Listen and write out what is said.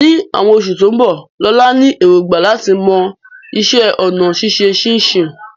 Ní àwọn oṣù tó ń bọ̀, Lola ní èrògbà láti mọ iṣẹ́ ọnà ṣíṣe ṣínṣìn